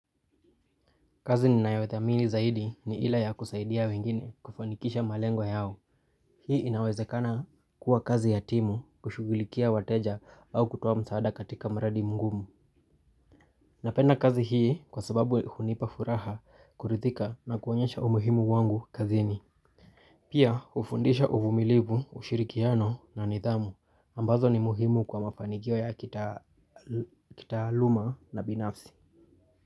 Kazi ninayothamini zaidi ni ile ya kusaidia wengine kufanikisha malengwa yao. Hii inawezekana kuwa kazi ya timu kushugulikia wateja au kutuoa msaada katika mradi mgumu. Napenda kazi hii kwa sababu hunipa furaha kurithika na kuonyesha umuhimu wangu kazini. Pia hufundisha uvumilivu, ushirikiano na nidhamu ambazo ni muhimu kwa mafanikio ya kitaaluma na binafsi.